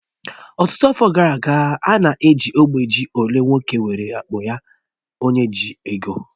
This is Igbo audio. Ọtụtụ afọ gara aga, a na-eji ógbè ji olee nwoke nwere akpọ ya onye ji ego